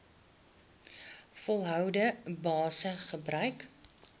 volgehoue basis gebruik